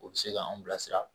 O bɛ se ka an bilasira